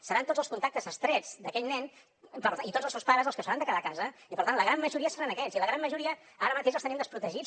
seran tots els contactes estrets d’aquell nen i tots els seus pares els que s’hauran de quedar a casa i per tant la gran majoria seran aquests i la gran majoria ara mateix els tenim desprotegits